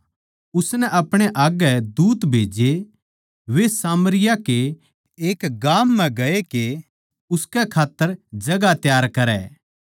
उसनै अपणे आग्गै दूत खन्दाए वे सामरियाँ कै एक गाम म्ह गए के उसकै खात्तर जगहां त्यार करै